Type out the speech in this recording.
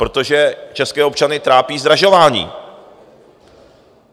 Protože české občany trápí zdražování.